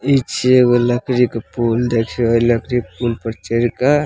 इ छै एगो लकड़ी के पुल देखोहल लकड़ी के पुल पर चढ़ क --